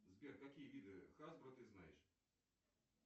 сбер какие виды хасбро ты знаешь